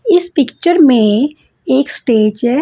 इस पिक्चर में एक स्टेज है।